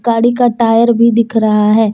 गाड़ी का टायर भी दिख रहा है।